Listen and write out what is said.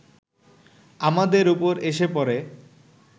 আমাদের ওপরে এসে পড়ে